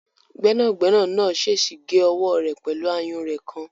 Gbẹ́nàgbẹ́nà náà sèèsì gé ọwọ́ rẹ̀ pẹ̀lú àyúnrẹ̀ kan